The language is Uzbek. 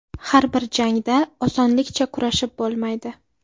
Har bitta jangda osonlikcha kurashib bo‘lmaydi.